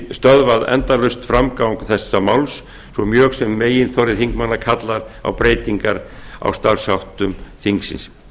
stöðvað endalaust framgang þessa máls svo mjög sem meginþorri þingmanna kallar á breytingar á starfsháttum þingsins